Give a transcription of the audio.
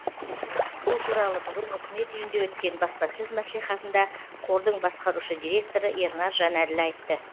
бұл туралы бүгін үкімет үйінде өткен баспасөз мәслихатында қордың басқарушы директоры ернар жанәділ айтты